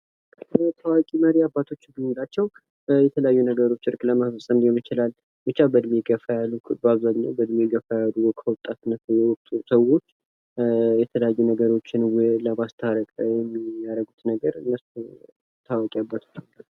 ታዋቂ መሪዎችና አባቶች ማለት በእድሜ ገፋ ያሉ አባቶች ሊሆኑ ይችላሉ ለማስታረቅ የሚጠቅሙ ናቸው።